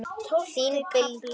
Þín Bylgja.